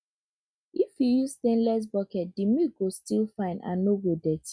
if you use stainless bucket the milk go still fine and no go dirty